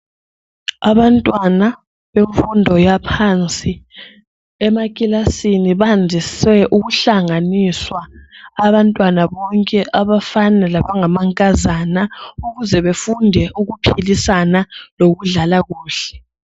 Abantwana bemfundo yaphansi emakilasini bandise ukuhlanganiswa abantwana bonke abafana labangamankazana ukuze befunde ukuphilisana lokudlala kuhle.